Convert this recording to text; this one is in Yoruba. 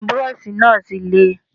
Bírọ́ọ̀ṣì náà ti le.